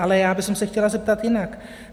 Ale já bych se chtěla zeptat jinak.